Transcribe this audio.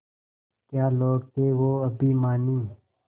क्या लोग थे वो अभिमानी